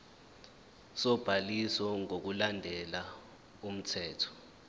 sobhaliso ngokulandela umthetho